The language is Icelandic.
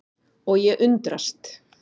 Og ég undrast.